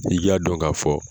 Dɔnki n'i y'a dɔn k'a fɔ